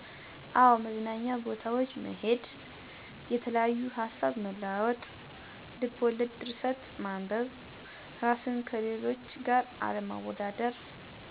አወ። መዝናኛ ቦታዎች መሔድ። የተለያዩ ሀሳብ መለዋወጥ። ልብ ወለድ ድርሰት ማንበብ። ራስን ከሌሎች ጋር አለማወዳደር።